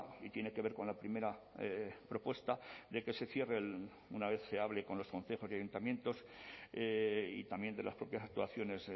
y tiene que ver con la primera propuesta de que se cierre una vez se hable con los concejos y ayuntamientos y también de las propias actuaciones